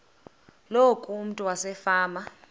loku umntu wasefama